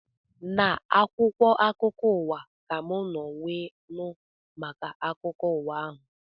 Na akwụkwọ akụkọ ụwa ka mụ nọ wee nụ maka akụkọ ụwa ahụ